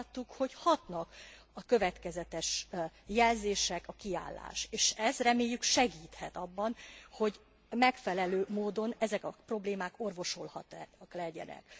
Azt láttuk, hogy hatnak a következetes jelzések, a kiállás, és ez, reméljük segíthet abban, hogy megfelelő módon ezek a problémák orvosolhatóak legyenek.